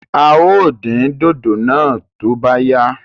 Áà ó din dòdò náà to bá yá